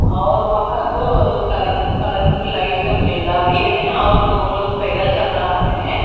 और वहां तो कलर कलरफुल लाइट्स और जेंडा भी है और दो लोग पैदल चल रहा है।